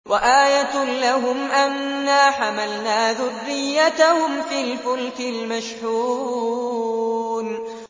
وَآيَةٌ لَّهُمْ أَنَّا حَمَلْنَا ذُرِّيَّتَهُمْ فِي الْفُلْكِ الْمَشْحُونِ